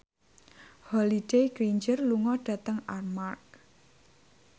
Holliday Grainger lunga dhateng Armargh